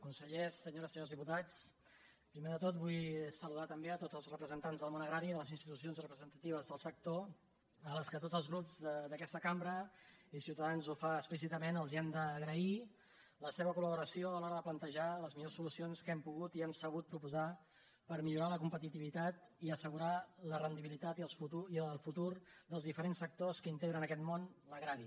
consellers senyores i se·nyors diputats primer de tot vull saludar també tots els representants del món agrari de les institucions representatives del sector a les quals tots els grups d’aquesta cambra i ciutadans ho fa explícitament els hem d’agrair la seva col·laboració a l’hora de plantejar les millors solucions que hem pogut i hem sabut pro·posar per millorar la competitivitat i assegurar la ren·dibilitat i el futur dels diferents sectors que integren aquest món l’agrari